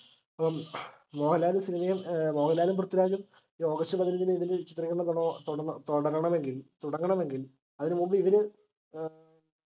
അപ്പം മോഹൻലാൽ cinema ഏർ മോഹൻലാലും പൃഥിരാജും ഓഗസ്റ്റ് ഇതിൽ ചിത്രീകരണം തുടങ്ങ തുടരണം എങ്കിൽ തുടങ്ങണമെങ്കിൽ അതിന് മുമ്പ് ഇവര് ഏർ